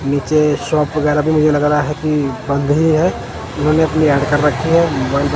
नीचे शॉप वगेरा भी मुझे लग रहा कि बंद ही है इन्होंने अपनी ऐड कर रखी है मोबाइल --